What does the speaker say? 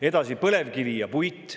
Edasi, põlevkivi ja puit.